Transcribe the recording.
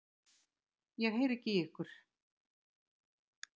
Ég heyri ekki í ykkur.